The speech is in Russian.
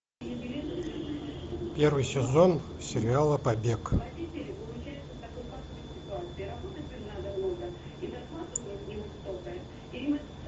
первый сезон сериала побег